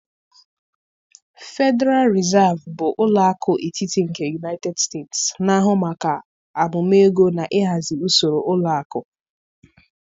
Federal Reserve bụ ụlọ akụ etiti nke United States, na-ahụ maka amụma ego na ịhazi usoro ụlọ akụ.